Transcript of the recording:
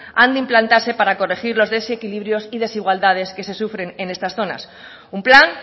han de implantarse para corregir los desequilibrios y desigualdades que se sufren en estas zonas un plan